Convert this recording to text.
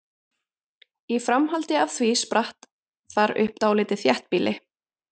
Í framhaldi af því spratt þar upp dálítið þéttbýli.